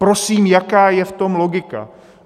Prosím, jaká je v tom logika?